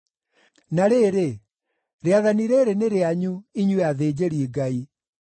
“Na rĩrĩ, rĩathani rĩrĩ nĩ rĩanyu, inyuĩ athĩnjĩri-Ngai.”